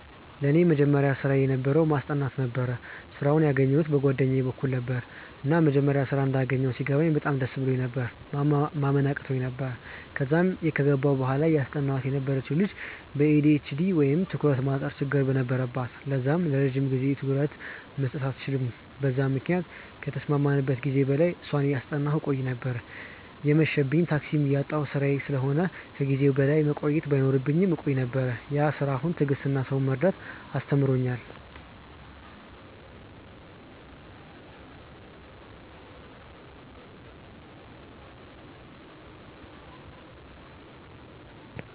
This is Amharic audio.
ለኔ የመጀመሪያ ስራየ የነበረው ማስጠናት ነበረ። ስራውን ያገኘዉት በ ጓደኛየ በኩል ነበረ፤ እና መጀመሪያ ስራ እንዳገኘው ሲገባኝ በጣም ደስ ብሎኝ ነበር፤ ማመን አቅቶኝ ነበር፤ ከዛም ከገባው በኋላ እያስጠናዋት የነበረችው ልጅ በ ኤ.ዲ.ኤ.ች.ዲ ወይም የ ትኩረት ማጠር ችግር ነበረባት ለዛም ለረጅም ጊዜ ትኩረት መስጠት አትችልም በዛም ምክንያት ከተስማማንበት ጊዜ በላይ እሷን እያጠናው ቆይ ነበር፤ እየመብኝም፤ ታክሲም እያጣው ስራዬ ስለሆነ እና ከ ጊዜዬ በላይ መቆየት ባይኖርብኝም እቆይ ነበር፤ ያ ስራ አሁን ትዕግስትን እና ሰውን መረዳትን አስተምሮኛል።